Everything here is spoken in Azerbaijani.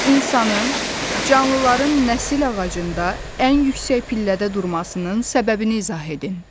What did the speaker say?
İnsanın canlıların nəsil ağacında ən yüksək pillədə durmasının səbəbini izah edin.